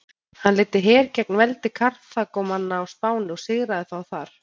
Hann leiddi her gegn veldi Karþagómanna á Spáni og sigraði þá þar.